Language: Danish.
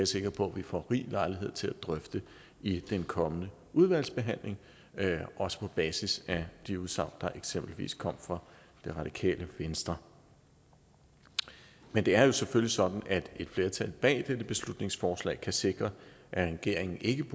sikker på vi får rig lejlighed til at drøfte i den kommende udvalgsbehandling også på basis af de udsagn der eksempelvis kom fra det radikale venstre men det er jo selvfølgelig sådan at et flertal bag dette beslutningsforslag kan sikre at regeringen ikke